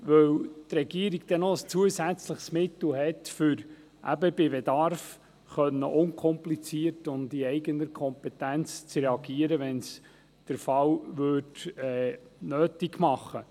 Die Regierung hat dann ein zusätzliches Mittel, um bei Bedarf unkompliziert und in eigener Kompetenz zu reagieren, wenn es der Fall nötig machte.